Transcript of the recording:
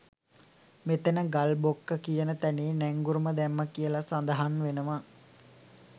මෙතැන ගල් බොක්ක කියන තැනේ නැංගුරම් දැම්මා කියලා සඳහන් වෙනවා.